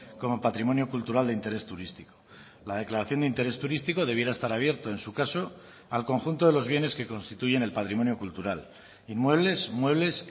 como patrimonio cultural de interés turístico la declaración de interés turístico debiera estar abierto en su caso al conjunto de los bienes que constituyen el patrimonio cultural inmuebles muebles